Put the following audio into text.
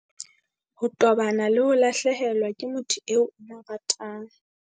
Ho tobana le ho lahlehelwa ke motho eo o mo ratang